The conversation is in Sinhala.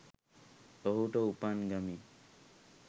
ඔහුට උපන් ගමින්